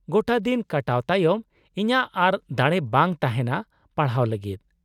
-ᱜᱚᱴᱟ ᱫᱤᱱ ᱠᱟᱴᱟᱣ ᱛᱟᱭᱚᱢ ᱤᱧᱟᱹᱜ ᱟᱨ ᱫᱟᱲᱮ ᱵᱟᱝ ᱛᱟᱦᱮᱱᱟ ᱯᱟᱲᱦᱟᱣ ᱞᱟᱹᱜᱤᱫ ᱾